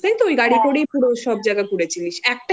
নিয়েছিলিস তাই তো? ওই গাড়ি করেই পুরো সব জায়গা ঘুরেছিলিস